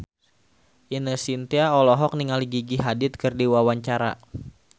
Ine Shintya olohok ningali Gigi Hadid keur diwawancara